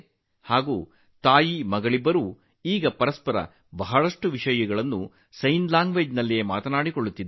ಈಗ ತಾಯಿ ಮತ್ತು ಮಗಳು ಇಬ್ಬರೂ ಪರಸ್ಪರ ಬಹಳಷ್ಟು ಮಾತನಾಡುತ್ತಾರೆ